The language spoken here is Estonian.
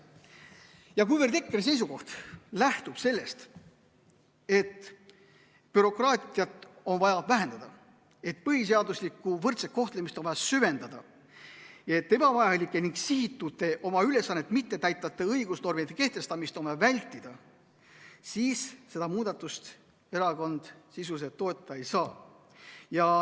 Ja kuna EKRE seisukoht lähtub sellest, et bürokraatiat on vaja vähendada, et põhiseaduslikku võrdset kohtlemist on vaja süvendada, et ebavajalikke ning sihitute, oma ülesannet mittetäitvate õigusnormide kehtestamist on vaja vältida, siis erakond seda muudatust toetada ei saa.